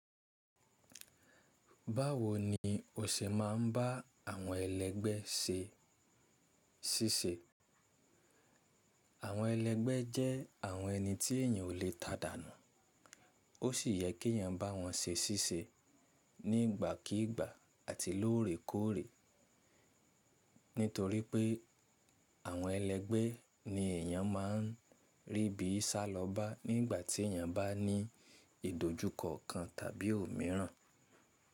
Báwo ni o ṣe máa ń bá àwọn ẹlẹ́gbẹ́ ṣe ṣíṣe? Àwọn ẹlẹ́gbẹ́ jẹ́ àwọn ẹni tí èèyàn ò lè tàdànù. Ó sì yẹ kí èèyàn bá wọn ṣe ṣíṣe nígbàkígbà àti lóòrèkóòrè. Nítorí pé àwọn ẹlẹ́gbẹ́ ni èèyàn máa ń rí bí sálọba nígbà tí èèyàn bá ní ìdójúkọ kan tàbí òmíràn.